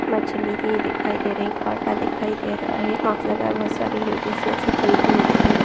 मछली की दिखाई दे रही कांटादिखाई दे रहा है मार्क लगा है बहुत सारी लेडिस जैसे खरीदते हुए दिखाइए।